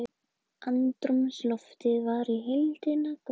Andrúmsloftið var í heildina gott